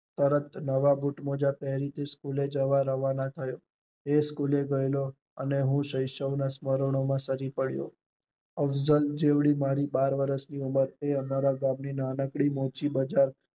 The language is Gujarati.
તરત નવા બુટ મોજા પેરી ને સ્કૂલે જવા તૈયાર થયો, એ સ્કૂલે ગયો અને હું શૈશવ ના સમરાંનો માં સાજી પડેલો, અવાજલ જેવી મારી બાર વર્ષ ની ઉમર તે ઘર ના આગળ ની નાકડી મોચી બજાર